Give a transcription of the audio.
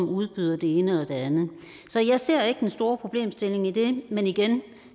udbyder det ene eller det andet så jeg ser ikke den store problemstilling i det men igen